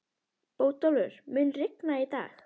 Bótólfur, mun rigna í dag?